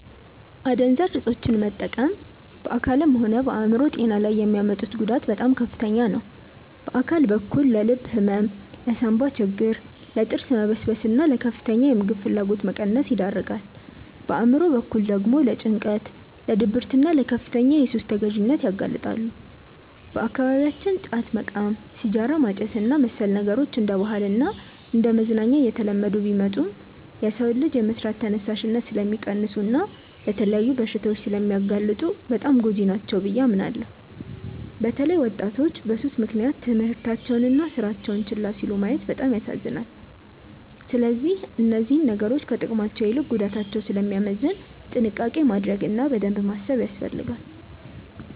አደንዛዥ እፆችን መጠቀም በአካልም ሆነ በአእምሮ ጤና ላይ የሚያመጡት ጉዳት በጣም ከፍተኛ ነው። በአካል በኩል ለልብ ህመም፣ ለሳንባ ችግር፣ ለጥርስ መበስበስና ለከፍተኛ የምግብ ፍላጎት መቀነስ ይዳርጋል። በአእምሮ በኩል ደግሞ ለጭንቀት፣ ለድብርትና ለከፍተኛ የሱስ ተገዢነት ያጋልጣሉ። በአካባቢያችን ጫት መቃም፣ ሲጋራ ማጨስና መሰል ነገሮች እንደ ባህልና እንደ መዝናኛ እየተለመዱ ቢመጡም፣ የሰውን ልጅ የመስራት ተነሳሽነት ስለሚቀንሱና ለተለያዩ በሽታዎች ስለሚያጋልጡ በጣም ጎጂ ናቸው ብዬ አምናለሁ። በተለይ ወጣቶች በሱስ ምክንያት ትምህርታቸውንና ስራቸውን ችላ ሲሉ ማየት በጣም ያሳዝናል። ስለዚህ እነዚህ ነገሮች ከጥቅማቸው ይልቅ ጉዳታቸው ስለሚያመዝን ጥንቃቄ ማድረግ እና በደንብ ማሰብ ያስፈልጋል።